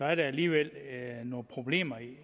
er der alligevel nogle problemer